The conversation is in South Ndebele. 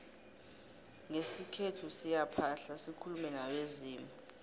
ngesikhethu siyaphahla sikulume nabezimu